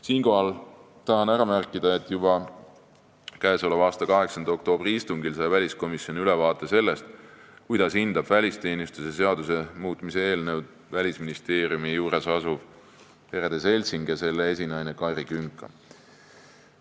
Siinkohal tahan ära märkida, et juba k.a 8. oktoobri istungil sai väliskomisjon ülevaate sellest, kuidas hindab välisteenistuse seaduse muutmise eelnõu Välisministeeriumi juures asuv perede seltsing ja selle esinaine Kairi Künka.